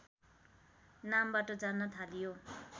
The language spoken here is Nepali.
नामबाट जान्न थालियो